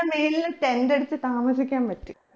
ന്റെ മേല് tent അടിച്ച് താമസിക്കാൻ പറ്റും